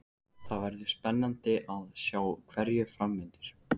Það verður spennandi að sjá hverju fram vindur.